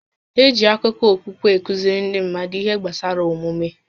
Eji akụkọ okpukpe a kụziri ndị mmadụ ihe gbasara omume